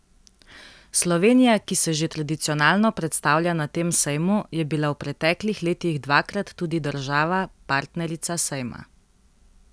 Slovenija, ki se že tradicionalno predstavlja na tem sejmu, je bila v preteklih letih dvakrat tudi država partnerica sejma.